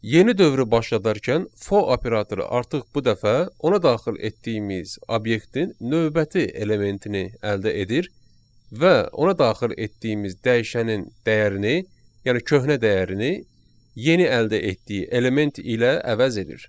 Yeni dövrü başladarkən for operatoru artıq bu dəfə ona daxil etdiyimiz obyektin növbəti elementini əldə edir və ona daxil etdiyimiz dəyişənin dəyərini, yəni köhnə dəyərini yeni əldə etdiyi element ilə əvəz edir.